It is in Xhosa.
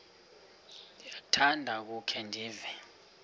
ndiyakuthanda ukukhe ndive